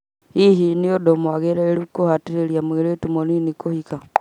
Hihi nĩ ũndũ mwagĩrĩru kũhatĩrĩria mũirĩtu mũnini kũhika?